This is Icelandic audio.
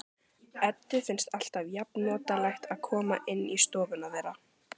Eddu finnst alltaf jafnnotalegt að koma inn í stofuna þeirra.